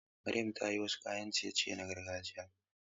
Maryam ta yi wasu kayan ciye-ciye na gargajiya.